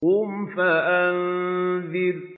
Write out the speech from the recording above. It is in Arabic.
قُمْ فَأَنذِرْ